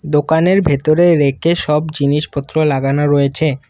দোকানের ভেতরে রেকে সব জিনিসপত্র লাগানো রয়েছে।